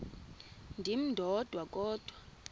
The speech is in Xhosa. ndim ndodwa kodwa